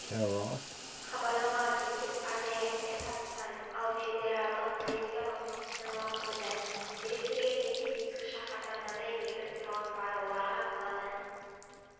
хабарламаға сәйкес арнайы әскер батыстан ал федералдық полиция оңтүстіктен лап қойды деректеріне сәйкес ескі шаһарда мыңдай бейбіт тұрғын бар оларға қаладан